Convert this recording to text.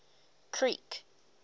creek